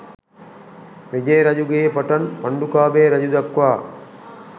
විජය රජුගේ පටන් පණ්ඩුකාභය රජු දක්වා